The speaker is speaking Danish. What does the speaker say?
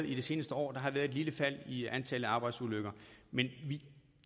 i det seneste år været et lille fald i antallet af arbejdsulykker men i